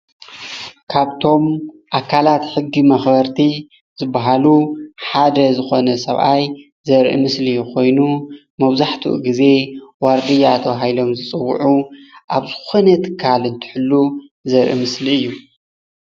ካብቶም ኣካላት ሕጊ መክበርቲ ዝበሃሉ ሓደ ዝኾነ ሰብኣይ ዘርኢ ምስሊ ኮይኑ መብዛሕትኡ ግዘ ዋርድያ ተባሂሎም ዝፅዉዑ ኣብ ዝኾነ ትካል እንትሕሉ ዘርኢ ምስሊ እዩ።